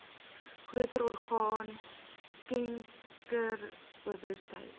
groter orgaan skenkersbewustheid